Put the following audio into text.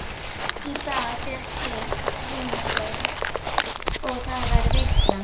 Í dag fékk einn heimsókn og það var veisla.